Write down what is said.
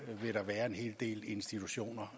vil være en hel del institutioner